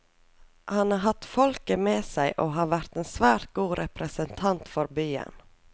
Han har hatt folket med seg og har vært en svært god representant for byen.